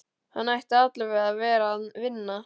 Hann ætti allavega að vera að vinna.